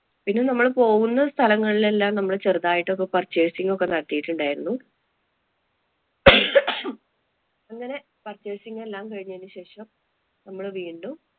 പിന്നെ നമ്മള് പോകുന്ന സ്ഥലങ്ങളിലെല്ലാം ഞങ്ങള് ചെറുതായിട്ട് ഒക്കെ purchase ഒക്കെ നടത്തിയിട്ടുണ്ടായിരുന്നു. അങ്ങനെ purchase ങ്ങെല്ലാം കഴിഞ്ഞതിനു ശേഷം നമ്മള് വീണ്ടും